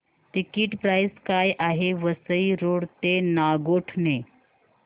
ticket price काय आहे Vasai road ते नागोठणे